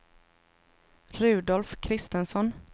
Rudolf Christensson